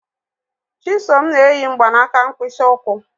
Chisom n'eyi mgbanaka mkpịsị ụkwụ.